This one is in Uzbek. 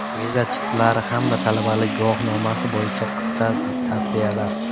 Viza, chiptalar hamda talabalik guvohnomasi bo‘yicha qisqa tavsiyalar.